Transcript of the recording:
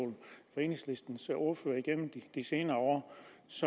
enhedslistens ordførere gennem de senere år